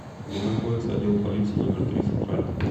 где находится отдел полиции номер три центральный